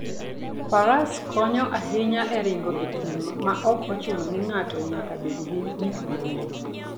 Faras konyo ahinya e ringo e thim maok ochuno ni ng'ato nyaka bed gi gik mang'eny.